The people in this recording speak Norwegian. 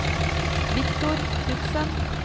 Viktor Knutsen